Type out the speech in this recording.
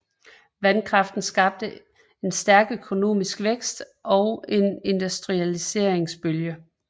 Vandkraften skabte en stærk økonomisk vækst og en industrialiseringbølge